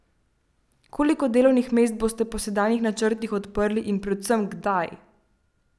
Koliko delovnih mest boste po sedanjih načrtih odprli in predvsem, kdaj?